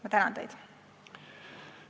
Ma tänan teid!